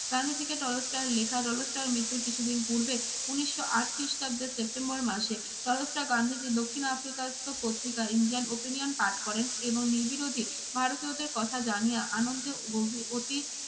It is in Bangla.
গান্ধীজীকে টলস্টয়ের লেখা, টলস্টয়ের মৃত্যুর কিছুদিন পূর্বে উনিশশো আট খ্রিস্টাব্দের সেপ্টেম্বর মাসে টলস্টয় গান্ধীজীর দক্ষিণ আফ্রিকায়স্ত পত্রিকা ইন্ডিয়ান ওপিনিয়ন পাঠ করেন এবং নির্বিরোধী ভারতীয়দের কথা জানিয়া আনন্দে অতি